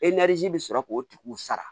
bɛ sɔrɔ k'o tigiw sara